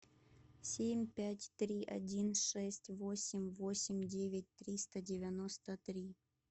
семь пять три один шесть восемь восемь девять триста девяносто три